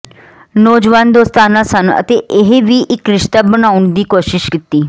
ਨੌਜਵਾਨ ਦੋਸਤਾਨਾ ਸਨ ਅਤੇ ਇਹ ਵੀ ਇੱਕ ਰਿਸ਼ਤਾ ਬਣਾਉਣ ਦੀ ਕੋਸ਼ਿਸ਼ ਕੀਤੀ